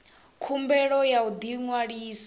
khumbelo ya u ḓi ṅwalisa